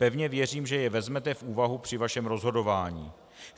Pevně věřím, že je vezmete v úvahu při svém rozhodování.